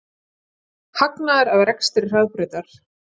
Hagnaður af rekstri Hraðbrautar